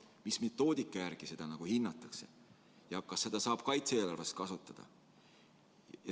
Mis metoodika järgi seda hinnatakse ja kas seda saab kaitse-eelarves kasutada?